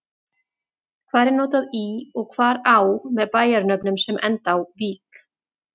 Hvar er notað í og hvar á með bæjarnöfnum sem enda á-vík?